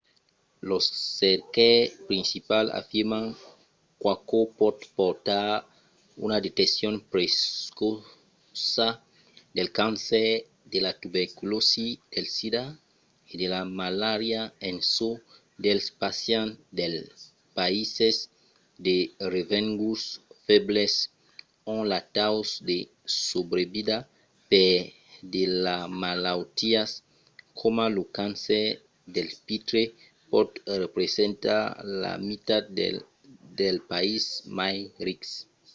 los cercaires principals afirman qu'aquò pòt portar a una deteccion precòça del cancèr de la tuberculòsi del sida e de la malària en çò dels pacients dels païses de revenguts febles ont lo taus de subrevida per de malautiás coma lo cancèr del pitre pòt representar la mitat del dels païses mai rics